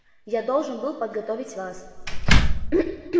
я должен был подготовить вас